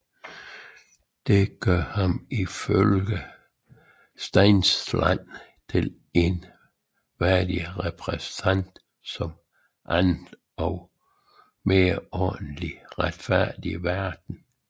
Det gør ham ifølge Steinsland til en værdig repræsentant for en anden og mere ordentlig og retfærdig verden